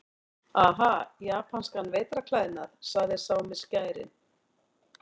Aha, japanskan vetrarklæðnað, sagði sá með skærin.